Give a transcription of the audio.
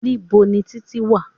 Níbo ni Títí wà?